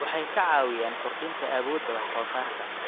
Waxay ka caawiyaan kordhinta awoodda wax soo saarka.